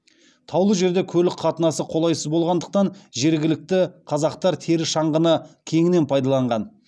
таулы жерде көлік қатынасы қолайсыз болғандықтан жергілікті қазақтар тері шаңғыны кеңінен пайдаланған